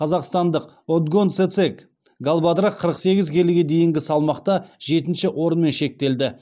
қазақстандық отгонцэцэг галбадрах қырық сегіз келіге дейінгі салмақта жетінші орынмен шектелді